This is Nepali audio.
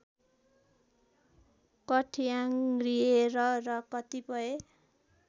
कठ्याङ्ग्रिएर र कतिपय